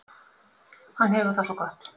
Hann hefur það svo gott.